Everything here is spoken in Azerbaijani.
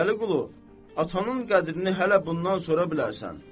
Vəliqulu, atanın qədrini hələ bundan sonra bilərsən.